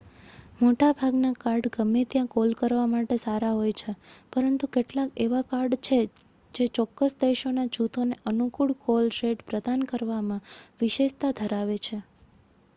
મોટા ભાગના કાર્ડ ગમે ત્યાં કોલ કરવા માટે સારા હોય છે પરંતુ કેટલાક એવા કાર્ડ છે જે ચોક્કસ દેશોના જૂથોને અનુકૂળ કોલ રેટ પ્રદાન કરવામાં વિશેષતા ધરાવે છે